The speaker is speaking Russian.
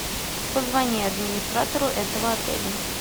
позвони администратору этого отеля